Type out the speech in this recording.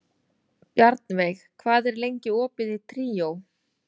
Bjarnveig, hvað er lengi opið í Tríó?